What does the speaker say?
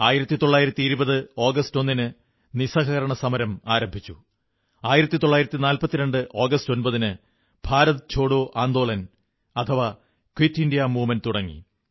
1920 August 1ന് നിസ്സഹകരണ സമരം ആരംഭിച്ചു 1942 ആഗസ്റ്റ് 9ന് Bharat Chhodo Andolan quit India movement തുടങ്ങി